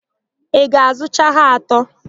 Ị ga-azụcha ha atọ?